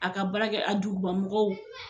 A ka baara kɛ a duguban mɔgɔw